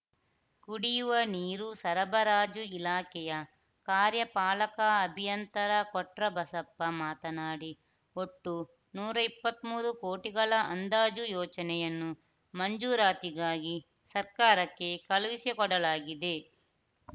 ಕುಡಿಯುವ ನೀರು ಸರಬರಾಜು ಇಲಾಖೆಯ ಕಾರ್ಯಪಾಲಕ ಅಭಿಯಂತರ ಕೊಟ್ರಬಸಪ್ಪ ಮಾತನಾಡಿ ಒಟ್ಟು ನೂರ ಇಪ್ಪತ್ತ್ ಮೂರು ಕೋಟಿಗಳ ಅಂದಾಜು ಯೋಜನೆಯನ್ನು ಮಂಜೂರಾತಿಗಾಗಿ ಸರ್ಕಾರಕ್ಕೆ ಕಳುಹಿಸಿಕೊಡಲಾಗಿದೆ